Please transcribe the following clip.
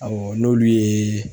Awɔ n'olu ye